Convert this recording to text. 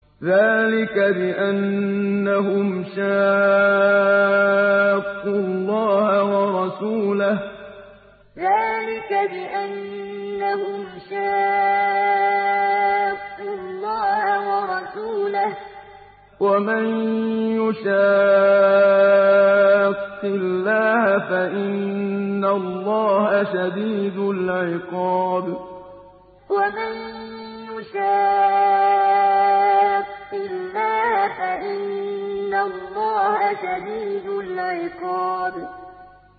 ذَٰلِكَ بِأَنَّهُمْ شَاقُّوا اللَّهَ وَرَسُولَهُ ۖ وَمَن يُشَاقِّ اللَّهَ فَإِنَّ اللَّهَ شَدِيدُ الْعِقَابِ ذَٰلِكَ بِأَنَّهُمْ شَاقُّوا اللَّهَ وَرَسُولَهُ ۖ وَمَن يُشَاقِّ اللَّهَ فَإِنَّ اللَّهَ شَدِيدُ الْعِقَابِ